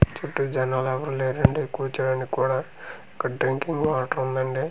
చుట్టూ జనాలు ఎవరు లేరండి కూర్చోడానికి కూడా ఇక్కడ డ్రింకింగ్ వాటర్ ఉందండి.